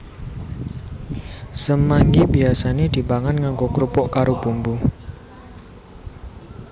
Semanggi biyasane dipangan nganggo krupuk karo bumbu